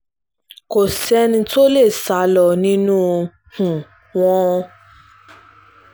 kò sẹ́ni tó lè sá lọ nínú um wọn